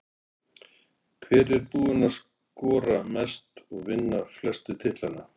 Hver er búinn að skora mest og vinna flestu titlana?